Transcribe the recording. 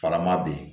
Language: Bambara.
Farama be yen